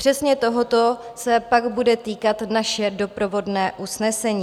Přesně tohoto se pak bude týkat naše doprovodné usnesení.